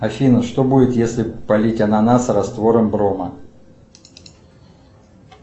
афина что будет если полить ананас раствором брома